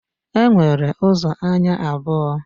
E nwere ụzọ anya abụọ